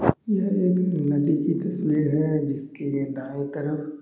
यहाँ एक पेड़ है उसके दाएं तरफ--